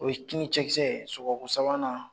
O ye cɛkisɛ sɔgɔko sabanan.